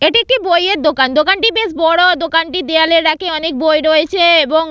এটি একটি বইয়ের দোকান দোকানটি বেশ বড় দোকানটির দেওয়ালরর র‍্যাক -এ অনেক বই রয়েছে এবং--